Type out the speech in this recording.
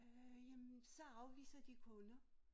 Øh jamen så afviser de kunder